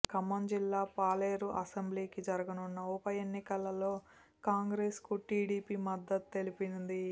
ఖమ్మం జిల్లా పాలేరు అసెంబ్లీ కి జరగనున్న ఉప ఎన్నికలోకాంగ్రెస్ కు టీడిపి మద్దతు తెలిపినది